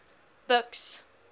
buks